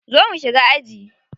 Zo mu shiga aji.